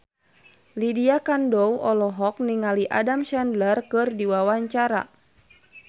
Lydia Kandou olohok ningali Adam Sandler keur diwawancara